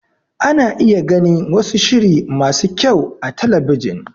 Ana iya gani wasu shiri masu kyau a talabijin.